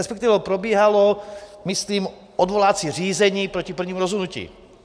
Respektive probíhalo, myslím, odvolací řízení proti prvnímu rozhodnutí.